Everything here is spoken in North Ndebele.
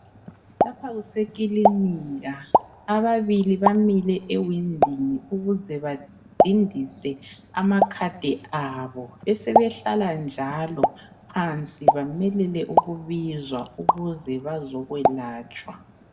Lapha kuse kilinika ababili bamile ewindini ukuze badindise amakhadi abo besebe hlala njalo phansi bamelele ukubizwa ukuze bazokwelatshwa.